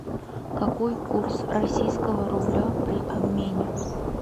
какой курс российского рубля при обмене